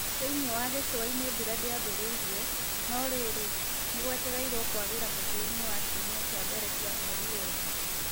Thĩinĩ wa gĩcũa-inĩ, mbura ndĩambĩrĩirie, no rĩrĩ, nĩ gũetereirwo kwagĩra mũthia-inĩ wa kiumia kĩa mbere kĩa mweri wena.